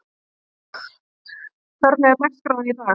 Steinþóra, hvernig er dagskráin í dag?